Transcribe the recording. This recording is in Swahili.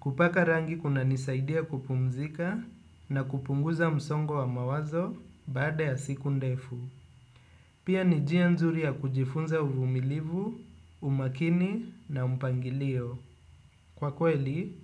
Kupaka rangi kunanisaidia kupumzika na kupunguza msongo wa mawazo baada ya siku ndefu. Pia ni njia nzuri ya kujifunza uvumilivu, umakini na mpangilio. Kwa kweli,